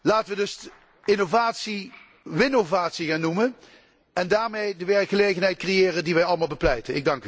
Laten we dus innovatie winnovatie gaan noemen en daarmee de werkgelegenheid creëren die wij allemaal bepleiten.